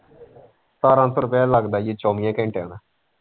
ਸਤਾਰਾਂ ਸੋ ਰੁਪਇਆ ਲੱਗਦਾ ਈ ਓ ਚੋਵੀ ਘੰਟਿਆਂ ਦਾ।